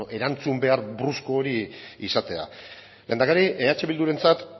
erantzun behar brusko hori izatea lehendakari eh bildurentzat